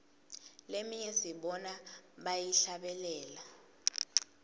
leminye sibona bayihlabelela